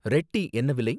Red tea என்ன விலை?